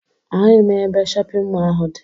Ahụghị m ebe shọpịn mọọ ahụ dị